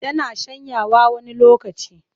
Tana shanyawa wani lokacin.